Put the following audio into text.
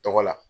Tɔgɔ la